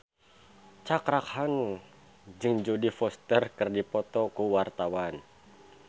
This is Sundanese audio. Cakra Khan jeung Jodie Foster keur dipoto ku wartawan